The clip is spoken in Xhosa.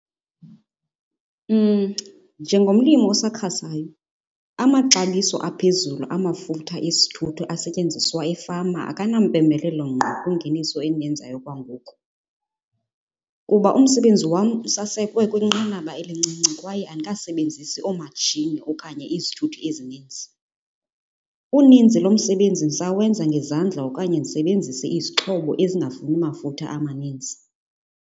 Njengomlimi osakhasayo amaxabiso aphezulu amafutha esithuthi asetyenziswa efama akanampembelelo ngqo kwingeniso endiyenzayo okwangoku, kuba umsebenzi wam usasekwe kwinqanaba elincinci kwaye andikasebenzisi oomatshini okanye izithuthi ezininzi. Uninzi lomsebenzi ndisawenza ngezandla okanye ndisebenzise izixhobo ezingafuni mafutha amaninzi.